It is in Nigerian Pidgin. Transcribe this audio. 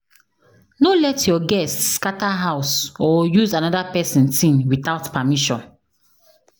No let your guest scatter house or use another pesin thing without permission.